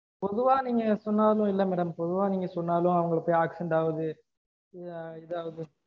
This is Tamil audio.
பொதுவா நீங்க சொன்னாலும் இல்ல madam பொதுவா நீங்க சொன்னாலும் அவங்கள போய் accident ஆவுது இதாவுது